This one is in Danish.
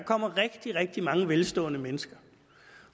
kommer rigtig rigtig mange velstående mennesker